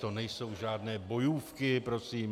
To nejsou žádné bojůvky prosím.